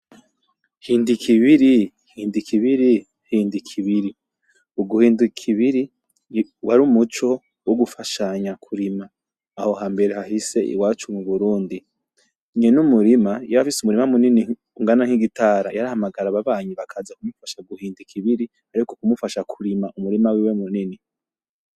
Hind'ikibiri! Hind'ikibiri! Hind'ikibiri! Uguhind'ikibiri war' umuco wo gufashanya kurima aho hambere hahise iwacu mu Burundi, nyen'umurima yaba afise umurima munini ungana nk'igitara, yarahamagara ababanyi bakaza ku mufasha guhind'ikibiri ariko ku mufasha kurima umurima wiwe munini.